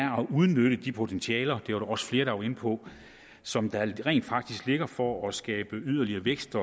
udnytte de potentialer det var der også flere der var inde på som rent faktisk ligger for at skabe yderligere vækst